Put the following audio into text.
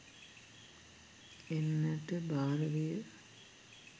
එන්නට භාර විය.